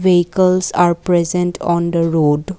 Vehicles are present on the road.